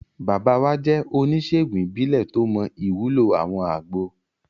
Bàbá wa jẹ́ oníṣèègùn ìbílẹ̀ tó mọ ìwúlò àwọn àgbo